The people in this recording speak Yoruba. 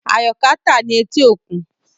Ayoka ta ni eti okun